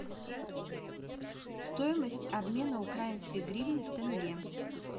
стоимость обмена украинской гривны в тенге